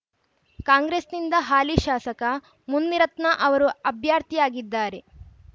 ಕಾಂಗ್ರೆಸ್‌ನಿಂದ ಹಾಲಿ ಶಾಸಕ ಮುನಿರತ್ನ ಅವರು ಅಭ್ಯರ್ಥಿಯಾಗಿದ್ದಾರೆ